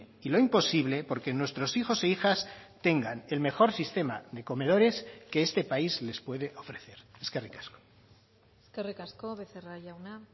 y lo imposible porque nuestros hijos e hijas tengan el mejor sistema de comedores que este país les puede ofrecer eskerrik asko eskerrik asko becerra jauna